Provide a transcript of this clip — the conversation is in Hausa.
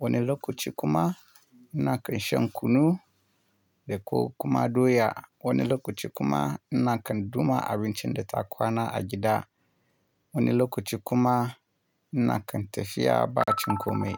wani lokaci kuma ina kan shan kunu da ko kuma doya. Wani lokaci kuma ina kan duma abincin da ta kwana a gida. Wani lokaci kuma ina kan tafiya ba cin komai.